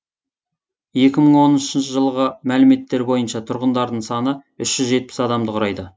екі мың оныншы жылғы мәліметтер бойынша тұрғындарының саны үш жүз жетпіс адамды құрайды